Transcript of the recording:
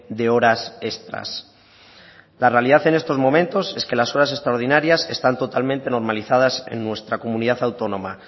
de horas extras la realidad en estos momentos es que las horas extraordinarias están totalmente normalizadas en nuestra comunidad autónoma